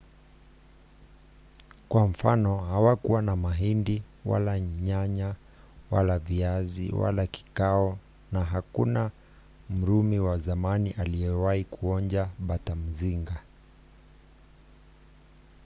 kwa mfano hawakuwa na mahindi wala nyanya wala viazi wala kakao na hakuna mrumi wa zamani aliyewahi kuonja batamzinga